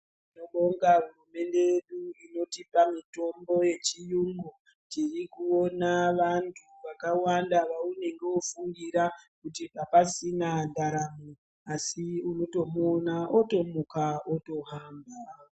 Tinobonga hurumende yedu inotipa mitombo yechiyungu. Tirikuona vantu vakawanda vaunenge wofungira kuti apasisina ndaramo asi unotomuona otomuka otohamba.